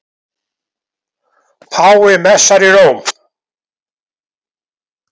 Páfi messar í Róm